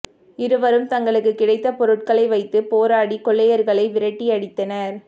இருவரும் தங்களுக்கு கிடைத்த பொருட்களை வைத்து போராடி கொள்ளையர்களை விரட்டி அடித்தனர்